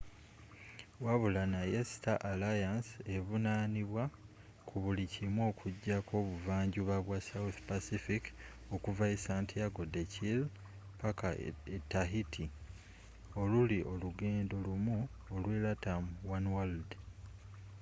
wabula naye star alliance evunaanibwa ku buli kimu okujjako obuvanjuba bwa south pacific okuva e santiago de chile paka e tahiti oluli olugendo lumu olwe latam oneworld